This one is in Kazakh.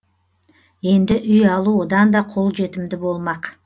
енді үй алу одан да қолжетімді болмақ